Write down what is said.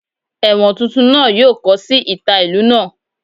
Ewọn tuntun naa yoo kọ si ita ilu naa.